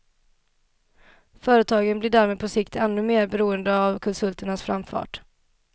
Företagen blir därmed på sikt ännu mer beroende av konsulternas framfart.